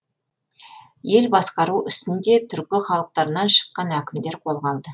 ел басқару ісін де түркі халықтарынан шыққан әкімдер қолға алды